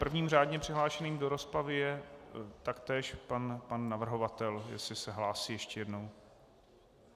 Prvním řádným přihlášeným do rozpravy je taktéž pan navrhovatel, jestli se hlásí ještě jednou.